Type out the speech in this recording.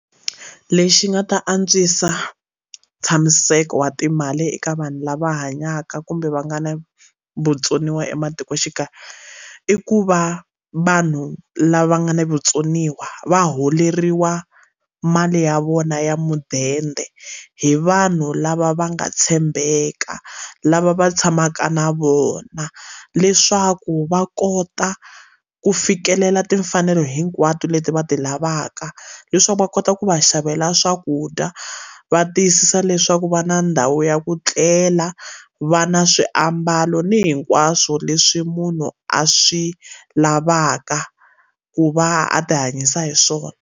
Lexi nga ta antswisa ntshamiseko wa timali eka vanhu lava hanyaka kumbe va nga na vutsoniwa ematikoxikaya i ku va vanhu lava nga na vutsoniwa va holeriwa mali ya vona ya mudende hi vanhu lava va nga tshembeka lava va tshamaka na vona leswaku va kota ku fikelela timfanelo hinkwato leti va ti lavaka leswaku va kota ku va xavela swakudya va tiyisisa leswaku va na ndhawu ya ku tlela va na swiambalo ni hinkwaswo leswi munhu a swi lavaka ku va a ti hanyisa hi swona.